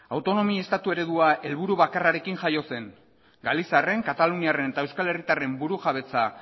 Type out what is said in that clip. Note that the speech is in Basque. autonomia estatu eredua helburu bakarrekin jaio zen galiziarren kataluniarren eta euskal herritarren burujabetasun